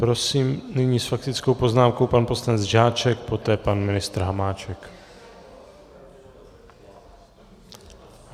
Prosím nyní s faktickou poznámkou pan poslanec Žáček, poté pan ministr Hamáček.